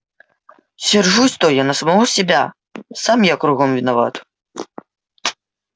сержусь-то я на самого себя сам я кругом виноват